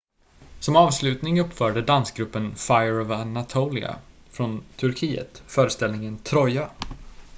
"som avslutning uppförde dansgruppen fire of anatolia från turkiet föreställningen "troja"".